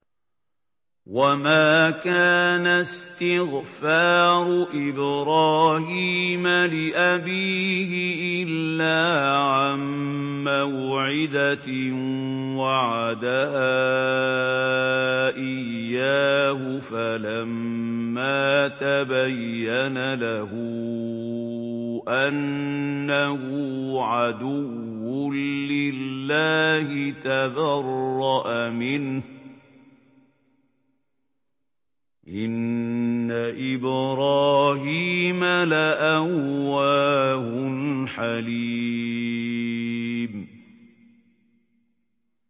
وَمَا كَانَ اسْتِغْفَارُ إِبْرَاهِيمَ لِأَبِيهِ إِلَّا عَن مَّوْعِدَةٍ وَعَدَهَا إِيَّاهُ فَلَمَّا تَبَيَّنَ لَهُ أَنَّهُ عَدُوٌّ لِّلَّهِ تَبَرَّأَ مِنْهُ ۚ إِنَّ إِبْرَاهِيمَ لَأَوَّاهٌ حَلِيمٌ